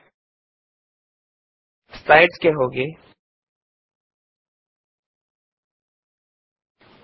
ಈಗ ಸ್ಲೈಡ್ ಗೆ ಹಿಂತಿರುಗೋಣ